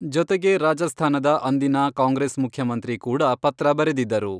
ಜೊತೆಗೆ ರಾಜಸ್ಥಾನದ ಅಂದಿನ ಕಾಂಗ್ರೆಸ್ ಮುಖ್ಯಮಂತ್ರಿ ಕೂಡ ಪತ್ರ ಬರೆದಿದ್ದರು.